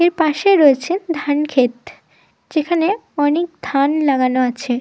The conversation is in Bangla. এর পাশে রয়েছে ধান খেত। যেখানে অনেক ধান লাগানো আছে।